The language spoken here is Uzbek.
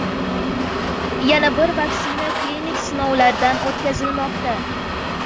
Yana bir vaksina klinik sinovlardan o‘tkazilmoqda.